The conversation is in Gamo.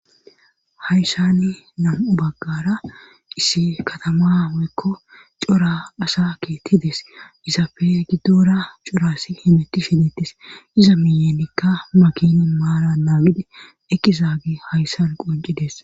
Hayssani nam7u baggara issi katama woykko cora asa keettides isapfe giddora corassi himeti shidettis iza miyemikka makinin maala naamidi ekizaagi hayssan qocides.